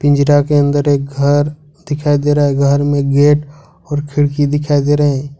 पिंजड़ा के अंदर एक घर दिखाई दे रहा है घर में गेट और खिड़की दिखाई दे रहे है।